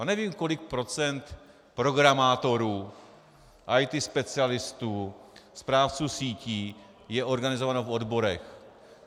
A nevím, kolik procent programátorů, IT specialistů, správců sítí je organizováno v odborech.